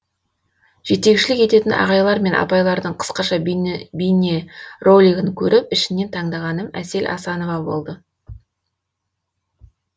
жетекшілік ететін ағайлар мен апайлардың қысқаша бейнеролигін көріп ішінен таңдағаным әсел асанова болды